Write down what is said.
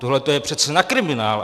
Tohleto je přece na kriminál!